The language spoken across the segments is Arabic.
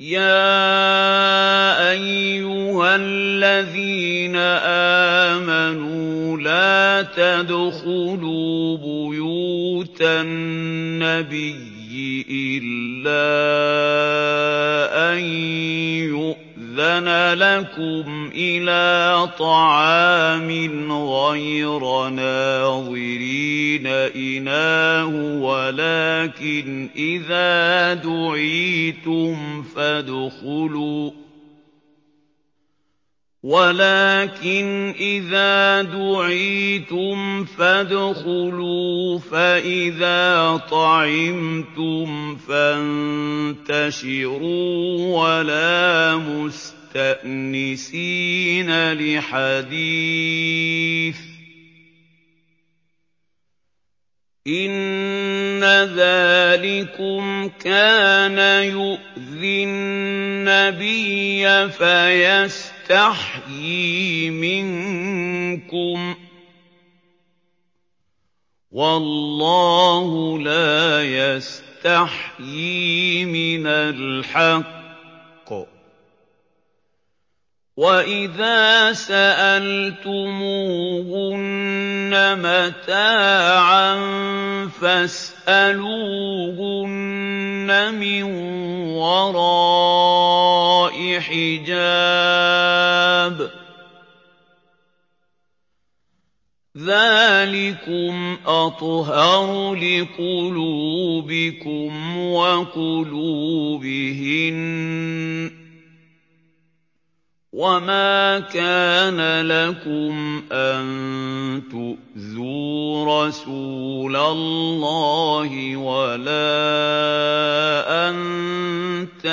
يَا أَيُّهَا الَّذِينَ آمَنُوا لَا تَدْخُلُوا بُيُوتَ النَّبِيِّ إِلَّا أَن يُؤْذَنَ لَكُمْ إِلَىٰ طَعَامٍ غَيْرَ نَاظِرِينَ إِنَاهُ وَلَٰكِنْ إِذَا دُعِيتُمْ فَادْخُلُوا فَإِذَا طَعِمْتُمْ فَانتَشِرُوا وَلَا مُسْتَأْنِسِينَ لِحَدِيثٍ ۚ إِنَّ ذَٰلِكُمْ كَانَ يُؤْذِي النَّبِيَّ فَيَسْتَحْيِي مِنكُمْ ۖ وَاللَّهُ لَا يَسْتَحْيِي مِنَ الْحَقِّ ۚ وَإِذَا سَأَلْتُمُوهُنَّ مَتَاعًا فَاسْأَلُوهُنَّ مِن وَرَاءِ حِجَابٍ ۚ ذَٰلِكُمْ أَطْهَرُ لِقُلُوبِكُمْ وَقُلُوبِهِنَّ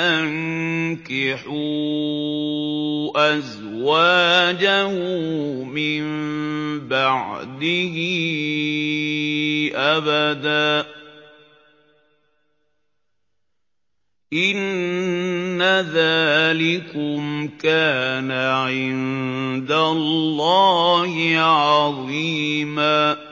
ۚ وَمَا كَانَ لَكُمْ أَن تُؤْذُوا رَسُولَ اللَّهِ وَلَا أَن تَنكِحُوا أَزْوَاجَهُ مِن بَعْدِهِ أَبَدًا ۚ إِنَّ ذَٰلِكُمْ كَانَ عِندَ اللَّهِ عَظِيمًا